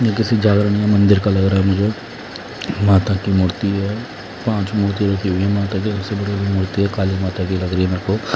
ये किसी जागरण या मंदिर का लग रहा है मुझे माता की मूर्ति है पांच मूर्ति रखी हुई है माता की सबसे बड़ी मूर्ति है काली माता की लग रही हैं मेरे को--